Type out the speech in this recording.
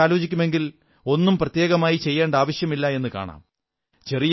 ഇതെക്കുറിച്ച് ആലോചിക്കുമെങ്കിൽ ഒന്നും പ്രത്യേകമായി ചെയ്യേണ്ട ആവശ്യമില്ലെന്നു കാണാം